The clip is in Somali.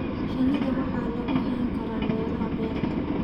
Shinida waxaa lagu hayn karaa meelaha beerta.